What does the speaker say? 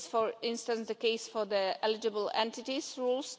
This is, for instance, the case for the eligible entities rules.